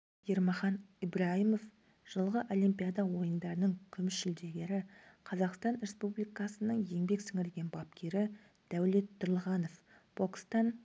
ермахан ибрайымов жылғы олимпиада ойындарының күміс жүлдегері қазақстан республикасының еңбек сіңірген бапкері дәулет тұрлыханов бокстан